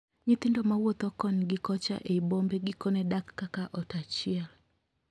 Nyithindo mawuotho kon gi kocha ei bombe gikone dak kaka ot achiel.